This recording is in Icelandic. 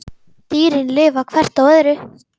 Dýrin lifa hvert á öðru.